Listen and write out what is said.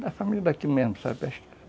Da família daqui mesmo, sabe?